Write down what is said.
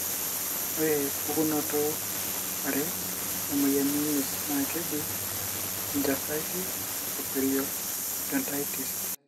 ore pukunoto are emoyian enyirt na keji'gingivitis o periodontitis".